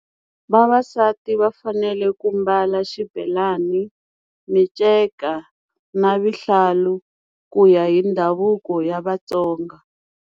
Vavasati va fanele ku mbala xibelan, minceka na vuhlalu ku ya hi ndhavuko ya Vatsonga.